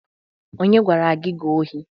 Onye gwara gi ka ohi?